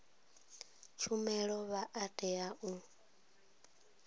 tshumelo vha a tea u